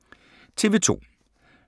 TV 2